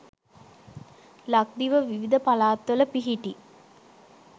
ලක්දිව විවිධ පළාත්වල පිහිටි